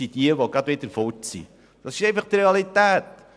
Das ist einfach die Realität.